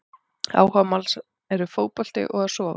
Áhugamál hans er fótbolti og að sofa!